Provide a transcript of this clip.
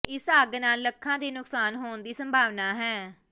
ਇਸ ਅੱਗ ਨਾਲ ਲੱਖਾਂ ਦੇ ਨੁਕਸਾਨ ਹੋਣ ਦੀ ਸੰਭਾਵਨਾ ਹੈ